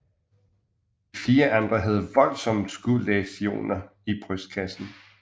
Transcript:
De fire andre havde voldsomme skudlæsioner i brystkassen